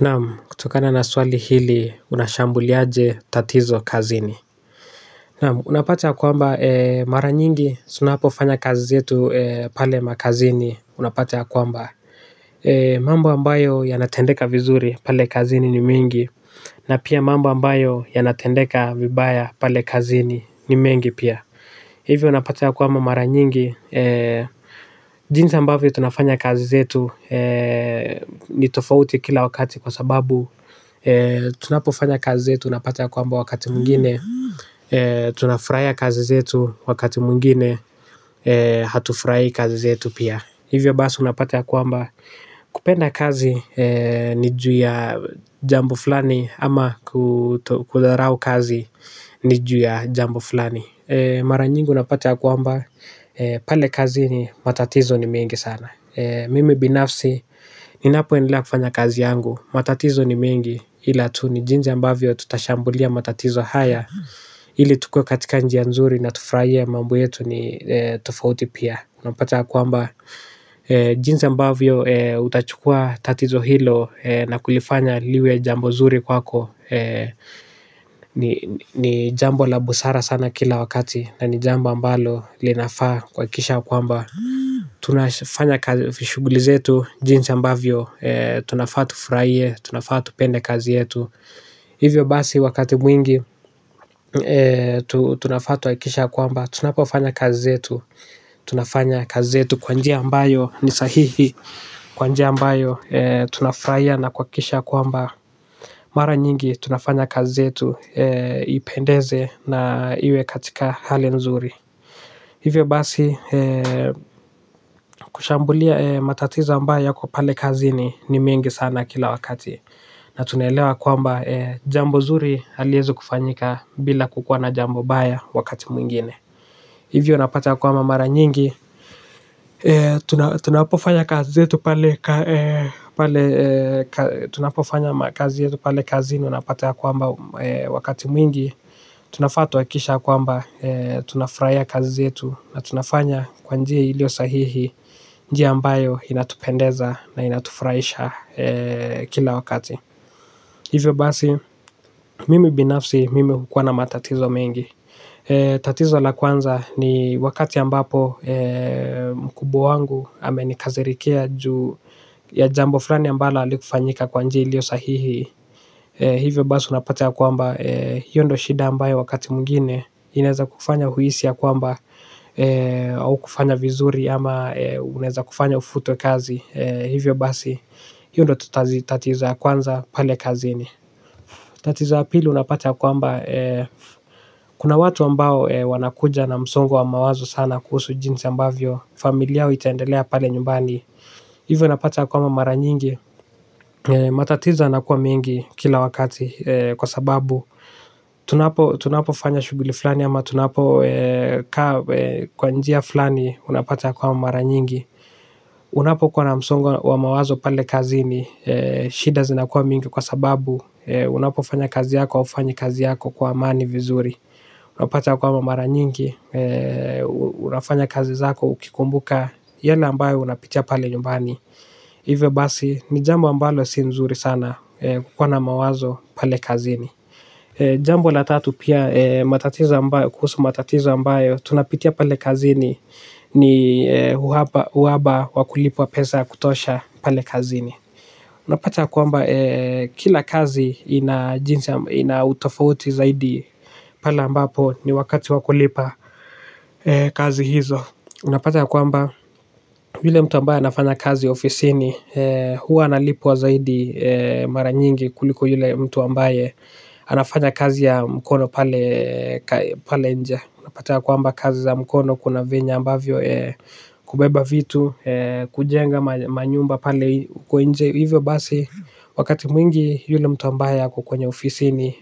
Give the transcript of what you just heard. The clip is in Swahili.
Naama kutokana na swali hili unashambuliaje tatizo kazini, naam unapata kwamba mara nyingi tunapofanya kazi yetu pale makazini unapata kwamba mambo ambayo yanatendeka vizuri pale kazini ni mingi na pia mambo ambayo yanatendeka vibaya pale kazini ni mengi pia. Hivyo unapatea kwamba mara nyingi jinsi ambavyo tunafanya kazi zetu. Nitofauti kila wakati kwa sababu tunapofanya kazi zetu unapatea kwamba wakati mwingine. Tunafuhia kazi zetu wakati mwingine. Hatufurahii kazi zetu pia. Hivyo basi unapata ya kwamba kupenda kazi niju ya jambo fulani ama kudharau kazi niju ya jambo fulani. Mara nyingi unapatw ya kwamba pale kazini matatizo ni mengi sana. Mimi binafsi ni napo endelea kufanya kazi yangu. Matatizo ni mengi. Hila tu ni jinzi ambavyo tutashambulia matatizo haya. Hili tukue katika njia nzuri na tufrahie mambo yetu ni tofauti pia unapata ya kwamba jinsi ambavyo utachukua tatizo hilo. Na kulifanya liwe jambo zuri kwako. Ni jambo la busara sana kila wakati. Na ni jambo ambalo linafaa kuhakisha kwamba tunafanya kazi shugulizetu jinsi ambavyo tunafaa tufurahie, tunafaa tupende kazi yetu. Hivyo basi wakati mwingi. Tunafaa tukishe kwamba tunapofanya kazi yetu. Tunafanya kazi yetu kwa njia ambayo ni sahihi. Kwanjia ambayo tunafurahia na kwa kisha kwamba mara nyingi tunafanya kazi yetu ipendeze na iwe katika hali nzuri. Hivyo basi kushambulia matatizo ambayo yako pale kazini ni mengi sana kila wakati. Na tunaelewa kwamba jambo zuri aliezi kufanyika bila kukuwa na jambo baya wakati mwingine. Hivyo napata kwamba mara nyingi tunapofanya kazi yetu pale kazini unapata ya kwamba wakati mwingi tunafaa tu hakishe ya kwamba tunafurahia kazi zetu na tunafanya kwa njia ilio sahihi njia ambayo inatupendeza na inatufraisha kila wakati. Hivyo basi mimi binafsi mimi hukwa na matatizo mengi. Tatizo la kwanza ni wakati ambapo mkubwa wangu ameni kazirikia ju ya jambo fulani ambalo halikufanyika kwanjia ilio sahihi. Hivyo basi unapata ya kwamba hio ndio shida ambayo wakati mwingine. Inaeza kufanya huisi ya kwamba au kufanya vizuri ama unaeza kufanya ufutwe kazi. Hivyo basi hio ndio tutazi tatiza ya kwanza pale kazini. Tatizo ya pili unapata ya kwamba kuna watu ambao wanakuja na msongo wa mawazo sana kuhusu jinsi ambavyo familia huitendelea pale nyumbani. Hivyo unapata ya kwamba mara nyingi matatizo yanakua mengi kila wakati. Kwa sababu tunapo fanya shuguli flani ama tunapo kwa njia flani unapata yakuwa mara nyingi unapo kuwa na msongo wa mawazo pale kazini. Shida zinakuwa mingi. Kwa sababu unapo fanya kazi yako haufanyi kazi yako kwa amani vizuri. Unapata ya kwamba mara nyingi unafanya kazi zako ukikumbuka yake ambayo unapitia pale nyumbani hivyo basi ni jambo ambalo si nzuri sana kuwa na mawazo pale kazini jambo la tatu pia matatizo kuhusu matatizo ambayo tunapitia pale kazini ni uhaba wakulipwa pesa ya kutosha pale kazini. Unapata kwamba kila kazi ina utofauti zaidi pale ambapo ni wakati wakulipa kazi hizo. Unapata ya kwamba yule mtu ambaye anafanya kazi ofisini. Hua analipwa zaidi maranyingi kuliko yule mtu ambaye anafanya kazi ya mkono pale nje. Unapata ya kwamba kazi za mkono kuna venye ambavyo kubeba vitu kujenga manyumba pale uko nje. Hivyo basi wakati mwingi yule mtu ambaye ako kwenye ofisini.